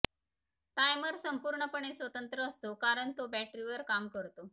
timer संपूर्णपणे स्वतंत्र असतो कारण तो बॅटरीवर काम करतो